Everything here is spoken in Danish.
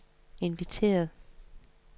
inviteret